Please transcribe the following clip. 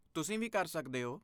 ਤੁਸੀਂ ਵੀ ਕਰ ਸਕਦੇ ਹੋ।